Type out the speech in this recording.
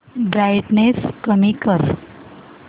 brightness कमी कर